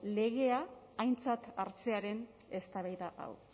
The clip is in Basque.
legea aintzat hartzearen eztabaida hau